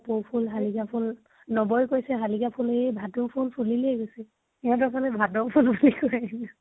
কপৌ ফুল শালিকা ফুল, নবয়ে কৈছে শালিকা ফুল, য়ে ভাতৌ ফুল ফুলিলেই । সিহঁতৰ ফালে ভাতৌ ফুল বুলি কয়